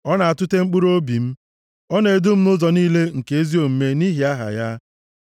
ọ na-atụte mkpụrụobi m. Ọ na-edu m nʼụzọ niile nke ezi omume nʼihi aha ya.